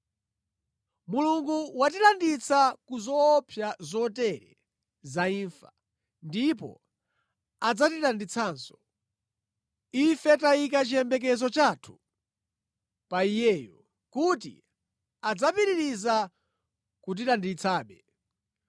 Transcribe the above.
Mulungu watilanditsa ku zoopsa zotere za imfa, ndipo adzatilanditsanso. Ife tayika chiyembekezo chathu pa Iyeyo kuti adzapitiriza kutilanditsabe.